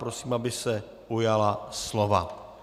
Prosím, aby se ujala slova.